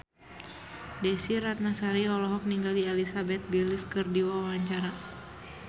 Desy Ratnasari olohok ningali Elizabeth Gillies keur diwawancara